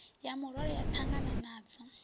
ya murole ya ṱangana nadzo